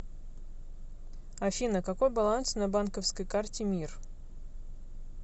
афина какой баланс на банковской карте мир